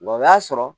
Wa o y'a sɔrɔ